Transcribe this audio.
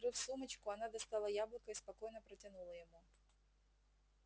открыв сумочку она достала яблоко и спокойно протянула ему